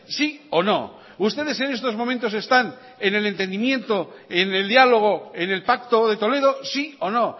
sí o no ustedes en estos momentos están en el entendimiento en el diálogo en el pacto de toledo sí o no